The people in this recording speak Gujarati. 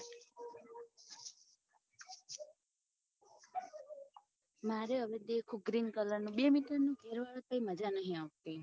મારે હવે તો દેખો green colour ની બે meter મજા ની આવતી